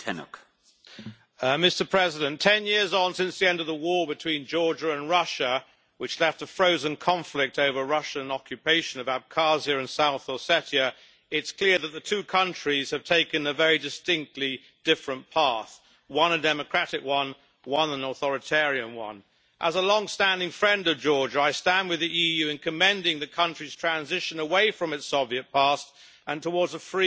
Mr President, ten years on since the end of the war between Georgia and Russia, which left a frozen conflict over Russian occupation of Abkhazia and South Ossetia, it's clear that the two countries have taken a very distinctly different path one a democratic one, one an authoritarian one. As a long standing friend of Georgia, I stand with the EU in commending the country's transition away from its Soviet past and towards a free, democratic